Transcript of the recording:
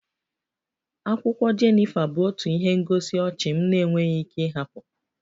Akwụkwọ Jenifa bụ otu ihe ngosi ọchị m na-enweghị ike ịhapụ